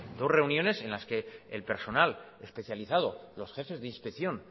dos reuniones en las que el personal especializado los jefes de inspección